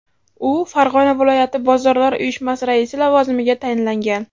U Farg‘ona viloyati bozorlar uyushmasi raisi lavozimiga tayinlangan.